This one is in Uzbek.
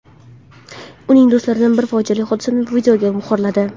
Uning do‘stlaridan biri fojiali hodisani videoga muhrladi.